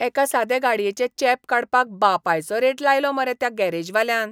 एका सादें गाडयेचें चेंप काडपाक बापायचो रेट लायलो मरे त्या गॅरेजवाल्यान.